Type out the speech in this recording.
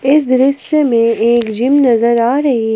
इस दृश्य में एक जिम नजर आ रही है।